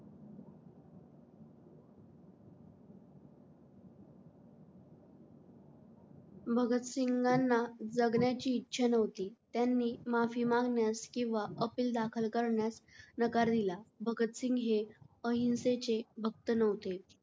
भगत सिंघांना जगण्याची इच्छा न्हवती त्यानी माफी मागण्यास किंव्हा appeal दाखल करण्यास नकार दिला. भगत सिंग हे अहिंसेचे भक्त न्हवते.